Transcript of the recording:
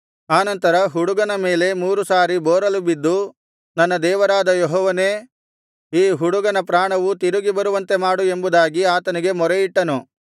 ಆನಂತರ ಹುಡುಗನ ಮೇಲೆ ಮೂರು ಸಾರಿ ಬೋರಲು ಬಿದ್ದು ನನ್ನ ದೇವರಾದ ಯೆಹೋವನೇ ಈ ಹುಡುಗನ ಪ್ರಾಣವು ತಿರುಗಿ ಬರುವಂತೆ ಮಾಡು ಎಂಬುದಾಗಿ ಆತನಿಗೆ ಮೊರೆಯಿಟ್ಟನು